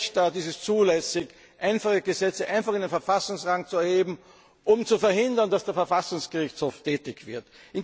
In keinem Rechtsstaat ist es zulässig, einfache Gesetze in den Verfassungsrang zu erheben, um zu verhindern, dass der Verfassungsgerichtshof tätig wird.